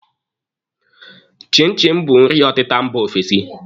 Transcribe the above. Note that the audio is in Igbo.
Chin chin bụ nri ọtịta mba ofesi